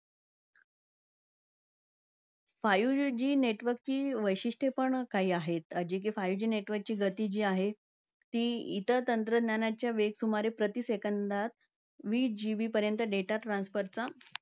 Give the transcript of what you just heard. Five G network ची वैशिष्ठये पण काही आहेत. जी कि five G network ची जी गती आहे. ती इतर तंत्रज्ञानाच्या वेग सुमारे प्रति second मध्ये वीस GB पर्यंत data transfer चा